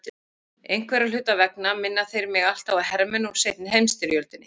Einhverra hluta vegna minna þeir mig alltaf á hermenn úr seinni heimsstyrjöldinni.